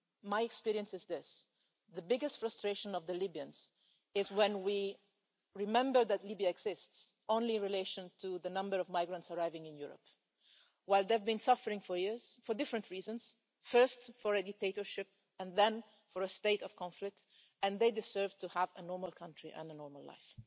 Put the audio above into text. My experience is this the biggest frustration of the Libyans is when we remember that Libya exists only in relation to the number of migrants arriving in Europe, whereas they've been suffering for years, for different reasons first because of a dictatorship and then because of a state of conflict, and they deserve to have a normal country and a normal life.